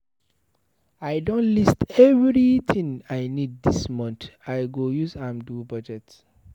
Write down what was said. I don list everytin I need dis month, I go use am do budget.